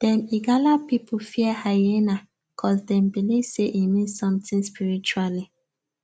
dem igala people fear hyena cuz dem believe say e mean something spiritually